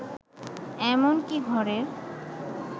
এমনকি ঘরের